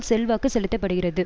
செல்வாக்கு செலுத்த படுகிறது